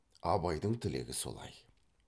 абайдың тілегі солай